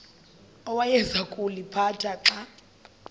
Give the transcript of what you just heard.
awayeza kuliphatha xa